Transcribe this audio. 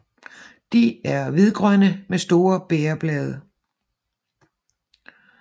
De er hvidgrønne med store bægerblade